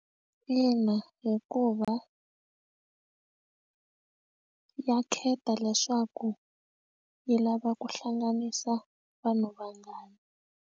Ina hikuva ya khetha leswaku yi lava ku hlanganisa vanhu vangani.